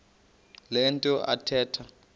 le nto athetha